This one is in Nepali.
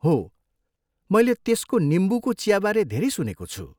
हो, मैले त्यसको निम्बुको चियाबारे धेरै सुनेको छु।